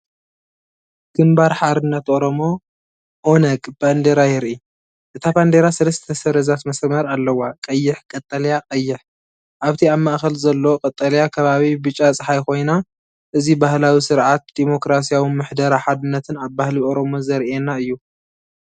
ግንባር ሓርነት ኦሮሞ (ኦነግ)ባንዴራ የርኢ። እታ ባንዴራ ሰለስተ ሰረዛት መስመር ኣለዋ። ቀይሕ፣ ቀጠልያ፣ ቀይሕ። ኣብቲ ኣብ ማእከል ዘሎ ቀጠልያ ከባቢ ብጫ ጸሓይ ኮይና፣ እዚ ባህላዊ ስርዓት ዲሞክራስያዊ ምሕደራ ሓድነትን ኣብ ባህሊ ኦሮሞ ዘርኤና እዩ።